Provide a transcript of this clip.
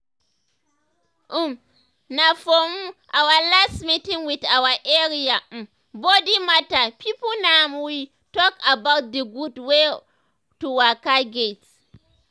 um na for um our last meeting with our area um body matter pipo na im we talk about d gud wey um to waka get.